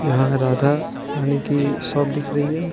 यहाँ राधारानी की शॉप दिख रही है।